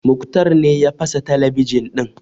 Muktar ne ya fasa talabijin ɗin